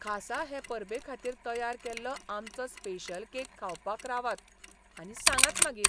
खासा हे परबे खातीर तयार केल्लो आमचो स्पेशल केक खावपाक रावात आनी सांगात मागीर.